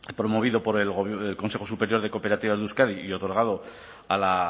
promovido por el consejo superior de cooperativas de euskadi y otorgado a la